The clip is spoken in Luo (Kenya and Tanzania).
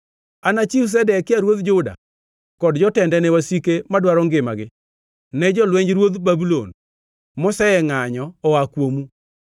“Anachiw Zedekia ruodh Juda kod jotende ne wasike madwaro ngimagi, ne jolwenj ruodh Babulon, mosengʼanyo oa kuomu.